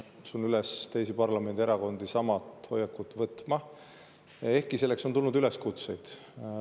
Kutsun üles teisi parlamendierakondi sama hoiakut võtma, ehkki on tulnud ka üleskutseid.